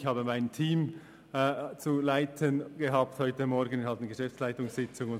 ich hatte ein Team zu leiten und musste an einer Geschäftsleitungssitzung teilnehmen.